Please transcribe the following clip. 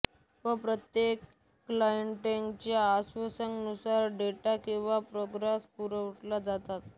व प्रत्येक क्लाएंटच्या आवश्यकतेनुसार डेटा किंवा प्रोग्राम्स पुरवले जातात